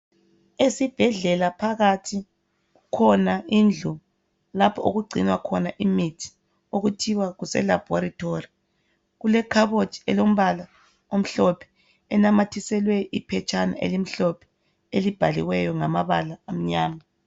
Esibhedlela phakathi ikhona indlu lapho okugcinwa khona imithi okuthiwa kuselabholitholi. Kule kabhothi elombala omhlophe enamathiselwe iphetshana elimhlophe elibhaliweyo ngamabala amnyama.